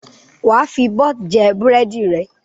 Wà á fi bọ́t jẹ búrẹ́dì rẹ!